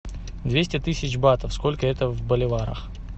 двести тысяч батов сколько это в боливарах